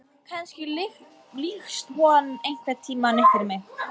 Kannski lýkst hann einhvern tíma upp fyrir mér.